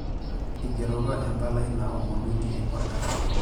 Eigeroko empalai naomonunye olkasi.